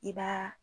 I b'a